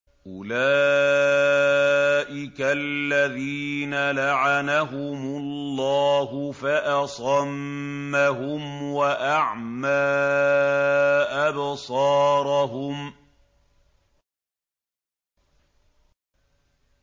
أُولَٰئِكَ الَّذِينَ لَعَنَهُمُ اللَّهُ فَأَصَمَّهُمْ وَأَعْمَىٰ أَبْصَارَهُمْ